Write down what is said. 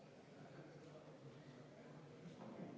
Aitäh, austatud eesistuja!